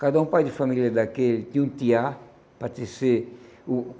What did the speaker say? Cada um pai de família daquele tinha um tiá para tecer o.